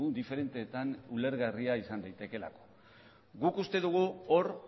diferenteetan ulergarria izan daitekeelako guk uste dugu hor